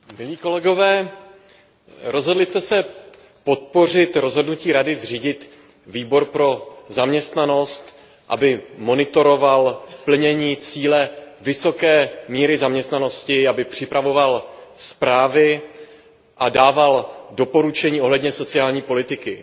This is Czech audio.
Vážení kolegové, rozhodli jste se podpořit rozhodnutí Rady zřídit Výbor pro zaměstnanost, aby monitoroval plnění cíle vysoké míry zaměstnanosti, aby připravoval zprávy a dával doporučení ohledně sociální politiky.